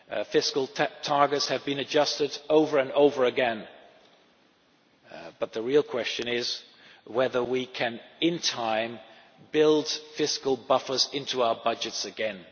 Fiscal targets have been adjusted over and over again. The real question is whether we can, in time, build fiscal buffers into our budgets